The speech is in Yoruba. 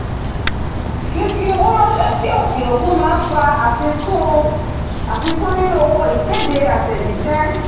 fífi owó ránsẹ́ sí òkè òkun máa fa àfikún nínú owó ìkéde àtẹ̀jísé